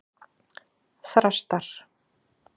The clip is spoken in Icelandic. Þrastar